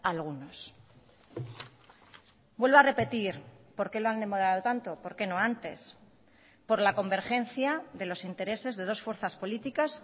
a algunos vuelvo a repetir por qué lo han demorado tanto por qué no antes por la convergencia de los intereses de dos fuerzas políticas